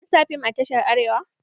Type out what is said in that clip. An sa fim a tashar Arewa?